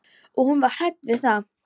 Og hún var hrædd við það.